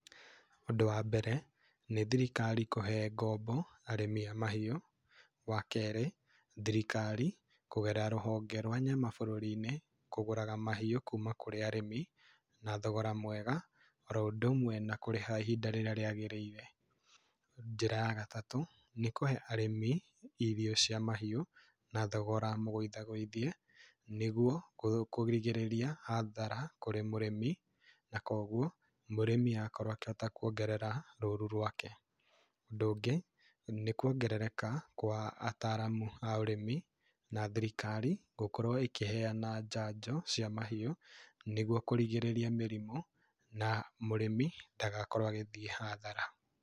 Ũndũ wa mbere, nĩ thirikari kũhe ngombo arĩmi a mahiũ, wa kerĩ, thirikari kũgerera rũhonge rwa nyama bũrũrinĩ kũgũraga mahiũ kuma kũrĩ arĩmi na thogora mwega oro ũndũ ũmwe wa kũgũra ihinda rĩrĩa rĩagĩrĩire. Njĩra ya gatatũ, nĩ kũhe arĩmi irio cia mahiũ na thogora mũgwĩthie gũithie nĩguo kũrigĩrĩria Hathara kũrĩ mũrĩmi na koguo mũrĩmi akorwo akĩhota kũongerera rũru rwake. Ũndũ ũngĩ, nĩ kwongerereka kwa ataramu a ũrĩmi na thirikari gũkorwo ĩkĩheana njanjo cia mahiũ nĩguo kũrigĩrĩria mĩrimũ na mũrĩmi ndagakorwo agĩthiĩ hathara.